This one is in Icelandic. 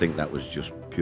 og